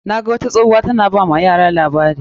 Na ga wata tsohuwa ta na ba wa yara labari.